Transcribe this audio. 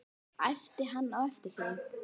æpti hann á eftir þeim.